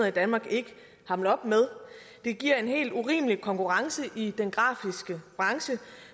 i danmark ikke hamle op med det giver en helt urimelig konkurrence i den grafiske branche